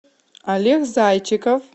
олег зайчиков